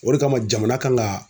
O de kama jamana kan ka